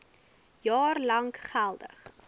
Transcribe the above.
jaar lank geldig